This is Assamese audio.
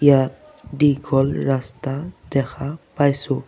ইয়াত দীঘল ৰাস্তা দেখা পাইছোঁ।